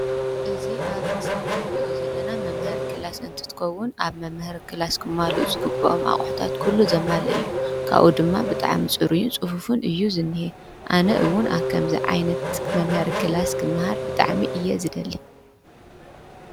እዚ ኣብ ምስሊ እንርእዮ ዘለና መምሃሪ ክላሰ እንትትከዉን ኣብ መምሃሪ ክላሰ ክማሉኡ ዝግብኦም ኩሉ ዘማለአ እዩ::ካበኡ ድማ ፅሩዩን ፅፉፉን እዩ ዝንዚሀ ኣነ እዉን ኣብ ከምዚ ዓይነት መምሃሪ ክላሰ ብጣዕሚ እየ ዘደሊ::